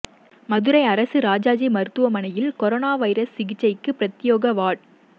மதுரை அரசு ராஜாஜி மருத்துவமனையில் corona virus சிகிச்சைக்கு பிரத்யேக வாா்டு